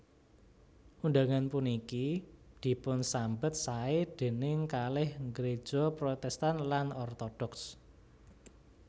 Undangan puniki dipunsambet saé déning kalih gréja Protèstan lan Ortodoks